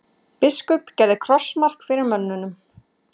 Biskup gerði krossmark fyrir mönnunum.